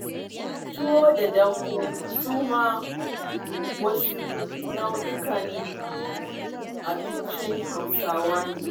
Tuwo da dambu su ma wasu nau'ikan abincin hausawa ne